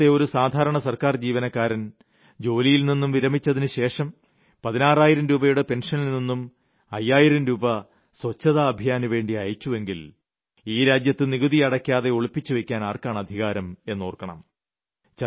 നമ്മുടെ രാജ്യത്തെ ഒരു സാധാരണ സർക്കാർ ജീവനക്കാരൻ ജോലിയിൽനിന്ന് വിരമിച്ചതിനുശേഷം 16000 രൂപയുടെ പെൻഷനിൽനിന്നും 5000 രൂപ സ്വച്ഛത അഭിയാനുവേണ്ടി അയച്ചുവെങ്കിൽ ഈ രാജ്യത്ത് നികുതി അടയ്ക്കാതെ ഒളിപ്പിച്ചുവെയ്ക്കാൻ ആർക്കാണ് അധികാരം എന്നോർക്കണം